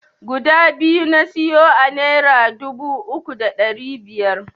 Guda biyu na siyo a naira dubu uku da ɗari biyar.